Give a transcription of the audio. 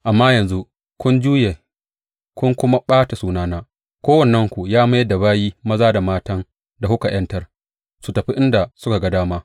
Amma yanzu kun juya kun kuma ɓata sunana; kowannenku ya mayar da bayi maza da matan da kuka ’yantar su tafi inda suka ga dama.